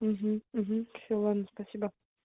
угу угу все ладно спасибо